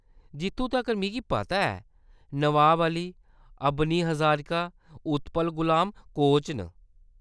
जित्थूं तक्कर ​​मिगी पता ऐ, नवाब अली, अबनी हजारिका, उत्पल गुलाम कोच न।